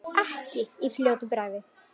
Ekki í fljótu bragði.